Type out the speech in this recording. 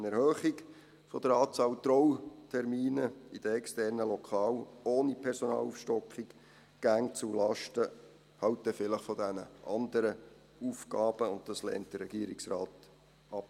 Eine Erhöhung der Anzahl Trautermine in den externen Lokalen, ohne Personalaufstockung, ginge vielleicht zulasten dieser anderen Aufgaben, und das lehnt der Regierungsrat ab.